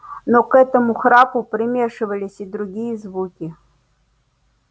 но к этому храпу примешивались и другие звуки